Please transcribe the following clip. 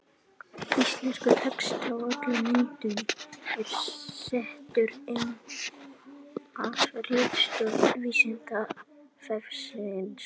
Íslenskur texti á öllum myndum er settur inn af ritstjórn Vísindavefsins.